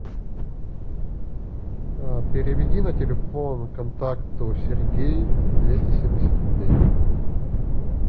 переведи на телефон контакту сергей двести семьдесят рублей